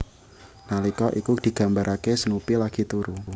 Nalika iku digambaraké Snoopy lagi turu